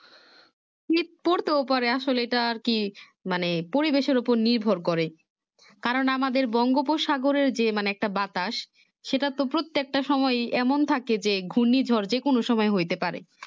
শীত পড়তেও পারে আসলে আরকি এটা আরকি মানে পরিবেশের উপর নির্ভর করে কারণ আমাদের বঙ্গোপসাগরের যে মানে একটা বাতাস সেটা তো প্রত্যেকটা সময়ই এমন থাকে যে গার্নি ঝড় যে কোনো সময় হইতে পারে